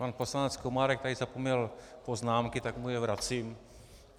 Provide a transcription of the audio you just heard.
Pan poslanec Komárek tady zapomněl poznámky, tak mu je vracím.